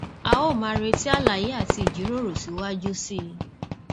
a ó máa retí àlàyé àti ìjíròrò síwájú sí i